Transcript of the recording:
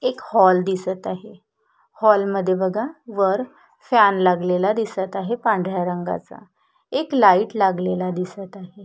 एक हॉल दिसत आहे हॉलमध्ये बघा वर फॅन लागलेला दिसत आहे पांढऱ्या रंगाचा एक लाइट लागलेला दिसत आहे.